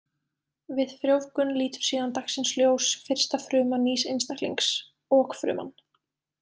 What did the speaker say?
Við frjóvgun lítur síðan dagsins ljós fyrsta fruma nýs einstaklings, okfruman.